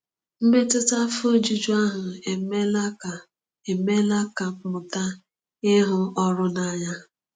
Mmetụta afọ ojuju ahụ emeela ka emeela ka m mụta ịhụ ọrụ n’anya.